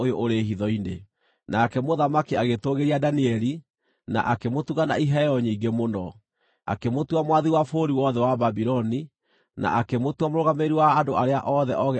Nake mũthamaki agĩtũũgĩria Danieli, na akĩmũtuga na iheo nyingĩ mũno. Akĩmũtua mwathi wa bũrũri wothe wa Babuloni, na akĩmũtua mũrũgamĩrĩri wa andũ arĩa othe oogĩ a bũrũri ũcio.